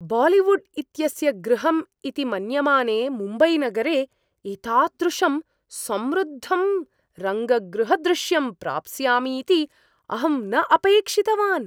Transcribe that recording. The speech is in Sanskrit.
बालीवुड् इत्यस्य गृहम् इति मन्यमाने मुम्बैनगरे एतादृशं समृद्धं रङ्गगृहदृश्यं प्राप्स्यामि इति अहं न अपेक्षितवान्।